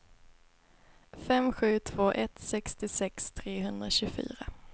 fem sju två ett sextiosex trehundratjugofyra